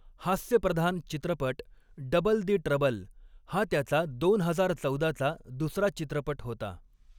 हास्यप्रधान चित्रपट 'double the trouble' हा त्याचा दोन हजार चौदाचा दुसरा चित्रपट होता.